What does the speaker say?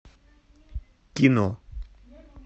кино